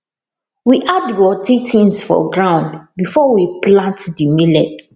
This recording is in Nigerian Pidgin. we add rotty things for ground before we plant dey millet